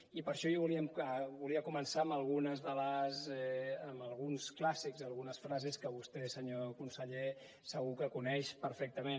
i per això jo volia començar amb alguns clàssics algunes frases que vostè senyor conseller segur que coneix perfectament